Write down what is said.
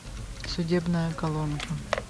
судебная колонка